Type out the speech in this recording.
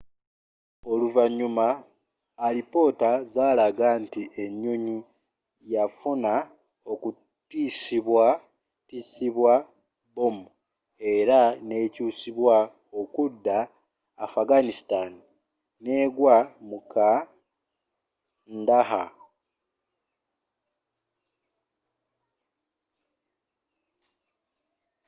oluvanyuma alipoota zalaga nti enyonyi yafuna okutisibwa tisibwa bomu era n'ekyusibwa okudda afghanistan negwa mu kandahar